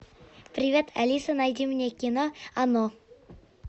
привет алиса найди мне кино оно